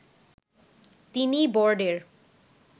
তিনি বোর্ডের